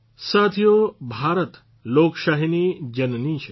સાથીઓ ભારત લોકશાહીની જનની છે